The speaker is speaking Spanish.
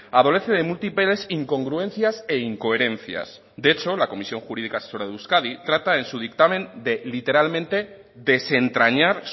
adolece de múltiples incongruencias e incoherencias de hecho la comisión jurídica asesora de euskadi trata en su dictamen de literalmente desentrañar